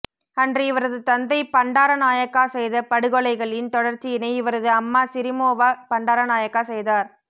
அன்று இவரது தந்தை பண்டாரநாயக்கா செய்த படுகொலைகளின் தொடர்ச்சியினை இவரது அம்மா சிறிமாவோ பண்டாரநாயக்கா செய்தார்